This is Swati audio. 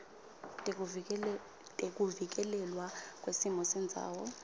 tekuvikelelwa kwesimo sendzawo